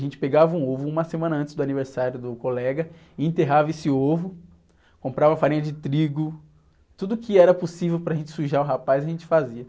A gente pegava um ovo uma semana antes do aniversário do colega, enterrava esse ovo, comprava farinha de trigo, tudo que era possível para gente sujar o rapaz, a gente fazia.